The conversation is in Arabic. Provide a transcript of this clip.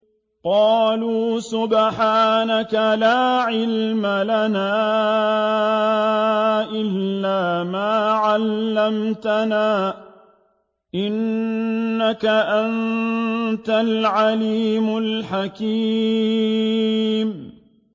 قَالُوا سُبْحَانَكَ لَا عِلْمَ لَنَا إِلَّا مَا عَلَّمْتَنَا ۖ إِنَّكَ أَنتَ الْعَلِيمُ الْحَكِيمُ